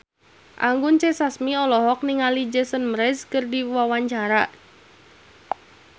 Anggun C. Sasmi olohok ningali Jason Mraz keur diwawancara